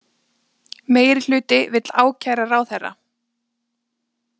Meirihluti vill ákæra ráðherra